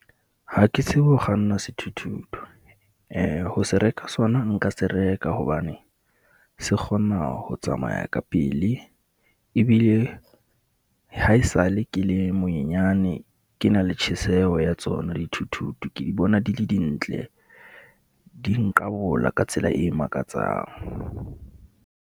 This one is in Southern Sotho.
Ha ke tsebe ho kganna sethuthuthu ho se reka sona, nka se reka hobane se kgona ho tsamaya ka pele. Ebile haesale ke le monyenyane, ke na le tjheseho ya tsona dithuthuthu. Ke di bona, di le dintle, di nqabola ka tsela e makatsang.